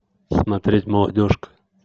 смотреть молодежка